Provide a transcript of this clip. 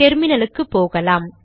டெர்மினலுக்கு போகலாம்